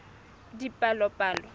dipalopalo